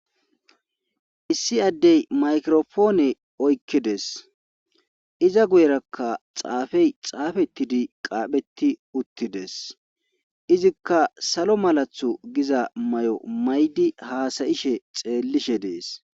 Issi addey maykirofoone oykkides. iza guyerakka xaafey xaafettidi qaapheti uttides izikka salo malathu giza may'o maydi haasayishe xeellishe dees.